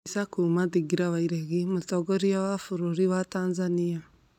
Mbica kuma thingira wa iregi, mũtongoria wa bũrũri wa Tanzania.